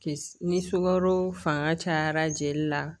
Kis ni sukaro fanga cayara jeli la